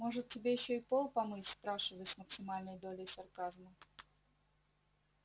может тебе ещё и пол помыть спрашиваю с максимальной долей сарказма